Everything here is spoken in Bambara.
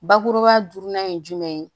Bakuruba ye jumɛn ye